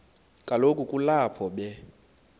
kaloku kulapho be